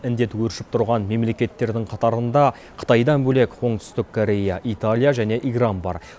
індет өршіп тұрған мемлекеттердің қатарында қытайдан бөлек оңтүстік корея италия және иран бар